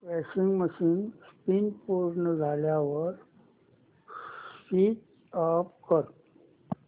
washing machine spin पूर्ण झाल्यावर switch off कर